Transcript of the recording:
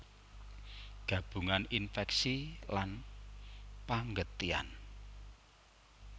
Gabungan infèksi lan panggetihan